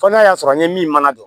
Fɔ n'a y'a sɔrɔ n ye min mana don